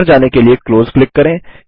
बाहर जाने के लिए क्लोज क्लिक करें